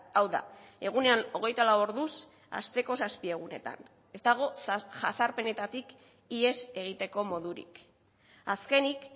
hau da egunean hogeita lau orduz asteko zazpi egunetan ez dago jazarpenetatik ihes egiteko modurik azkenik